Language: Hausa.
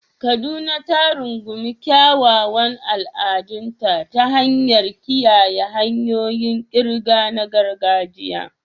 Kaduna ta rungumi kyawawan al'adunta ta hanyar kiyaye hanyoyin ƙirga na gargajiya.